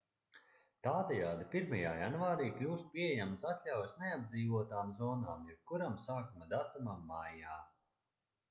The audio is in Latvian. tādējādi 1. janvārī kļūst pieejamas atļaujas neapdzīvotām zonām jebkuram sākuma datumam maijā